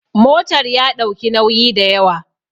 motar ya ɗauki nauyi da yawa